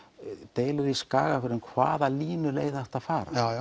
deilur í Skagafirði um hvaða línuleið ætti að fara